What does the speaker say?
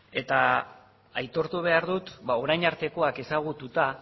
aitortu behar dut orain artekoak ezagututa